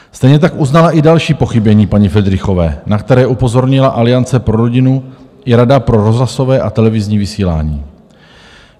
Stejně tak uznala i další pochybení paní Fridrichové, na které upozornila Aliance pro rodinu i Rada pro rozhlasové a televizní vysílání.